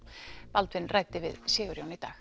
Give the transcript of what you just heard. Baldvin ræddi við Sigurjón í dag